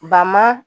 Ba ma